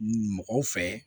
Mɔgɔw fɛ